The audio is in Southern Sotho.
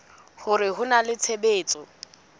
hore ho na le tshebetso